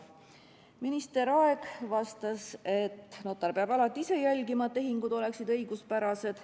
Minister Aeg vastas, et notar peab alati ise jälgima, et tehingud oleksid õiguspärased.